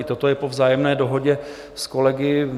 I toto je po vzájemné dohodě s kolegy.